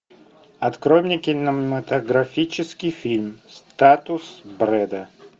открой мне кинематографический фильм статус брэда